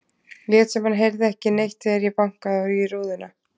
Lét sem hann heyrði ekki neitt þegar ég bankaði í rúðuna.